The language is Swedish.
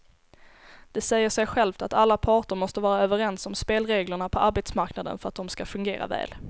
Det säger sig självt att alla parter måste vara överens om spelreglerna på arbetsmarknaden för att de ska fungera väl.